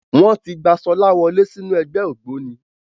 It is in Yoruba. Wọ́n ti gba Ṣọlá wọlé sínú ẹgbẹ́ ògbóni.